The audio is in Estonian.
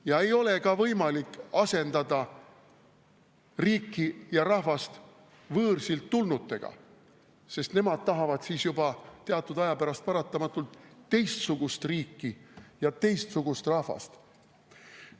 Ja ei ole võimalik asendada riiki ja rahvast võõrsilt tulnutega, sest nemad tahavad siis juba teatud aja pärast paratamatult teistsugust riiki ja teistsugust rahvast.